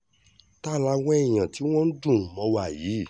ta làwọn èèyàn tí wọ́n ń dùnrùn mọ́ wa yìí